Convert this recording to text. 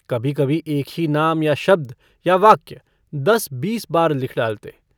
कभी-कभी एक ही नाम या शब्द या वाक्य दस-बीस बार लिख डालते।